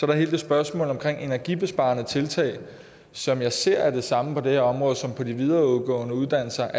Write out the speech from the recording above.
der hele det spørgsmål omkring energibesparende tiltag som jeg ser er det samme på det her område som ved de videregående uddannelser